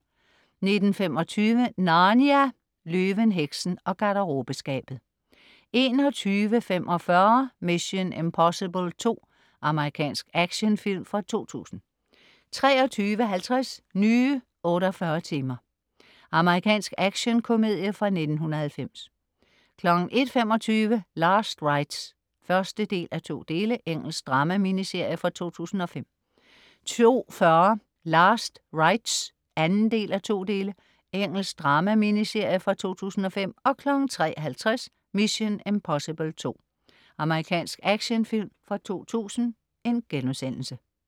19.25 Narnia - Løven, heksen og garderobeskabet 21.45 Mission: Impossible 2. Amerikansk actionfilm fra 2000 23.50 Nye 48 timer. Amerikansk actionkomedie fra 1990 01.25 Last Rights (1:2). Engelsk drama-miniserie fra 2005 02.40 Last Rights (2:2). Engelsk drama-miniserie fra 2005 03.50 Mission: Impossible 2. Amerikansk actionfilm fra 2000*